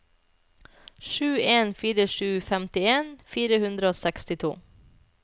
sju en fire sju femtien fire hundre og sekstito